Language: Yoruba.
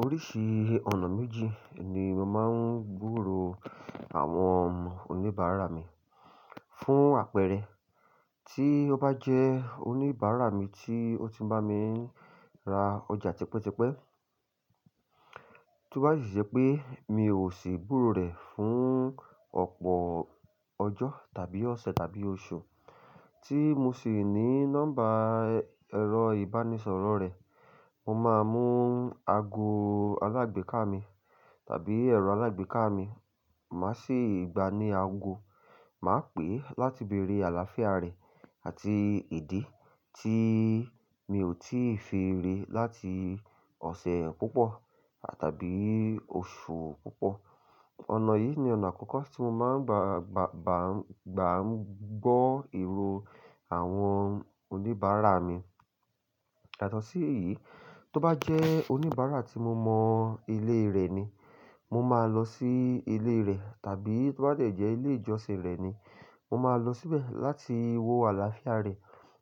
Oríṣi ọ̀nà méjì ni mo máa ń gburò àwọn oníbàárà mi. Fún àpẹẹrẹ, tí ó bá jẹ́ oníbàárà mi tí ó ti ń bá mi ra ọjà tipẹ́tipẹ́, tó bá sì ṣe pé mi ò sì gburo rẹ̀ fún ọ̀pọ̀ ọjọ́ tàbí ọ̀sẹ̀ tàbí oṣù, tí mo sì ní nọ́mbà ẹ̀rọ ìbánisọ̀rọ̀ rẹ̀, mo máa mú ago alágbèéká mi tàbí ẹ̀rọ alágbèéká mi, màá sì gba ní ago, màá pè é láti bèrè àlàáfíà rẹ̀ àti ìdí tí mi ò tíì fi rí i láti ọ̀sẹ̀ púpọ̀ tàbí oṣù púpọ̀. Ọ̀nà yìí ni ọ̀nà àkọ́kọ́ tí mo máa ń gba, gba, gbàá ń gbọ́ ìró àwọn oníbàárà mi. Yàtọ́ sí èyí, tó bá jẹ́ oníbàárà tí mo mọ ilé rẹ̀ ni, mo máa lọ sí ilé rẹ̀, tàbí tó bá tẹ̀jẹ́ ilé ìjọsìn rẹ̀ ni, mo máa lọ síbẹ̀ láti wo àlàáfíà rẹ̀,